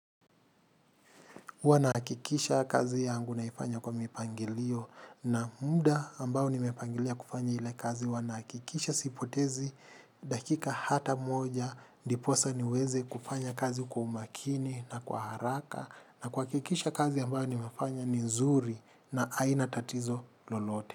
Huwa nahakikisha kazi yangu naifanya kwa mipangilio na muda ambao nimepangilia kufanya ile kazi huwa nakikisha sipotezi dakika hata moja ndiposa niweze kufanya kazi kwa umakini na kwa haraka na kuha kikisha kazi ambayo nimefanya ni nzuri na hainatatizo lolote.